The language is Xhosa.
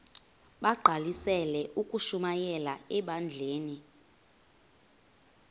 bagqalisele ukushumayela ebandleni